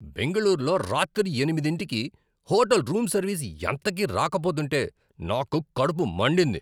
బెంగళూరులో రాత్రి ఎనిమిదింటికి హోటల్ రూంసర్వీస్ ఎంతకీ రాకపోతుంటే నాకు కడుపు మండింది.